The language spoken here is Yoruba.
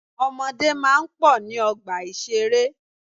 Ọmọdé máa ń pọ̀ ní ọgbà ìṣeré.